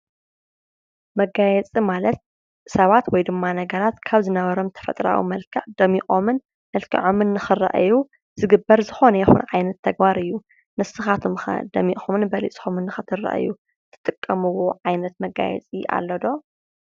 መጋየፂ ማለት ሰባት ወይ ድማ ነገራት ካብ ዝነበሮም ተፈጥሮኣዊ መልክዕ ደሚቖምን መልኪዖምን ንኽረኣዩ ዝግበር ዝኾነ ይኹን ዓይነት ተግባር እዩ:: ንስኻትኩምከ ደሚቕኩምን በሊፅኩምን ንኽትረኣዩ ትጥቀምዎ ዓይነት መጋየፂ ኣሎ ዶ?